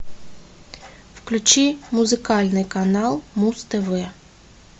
включи музыкальный канал муз тв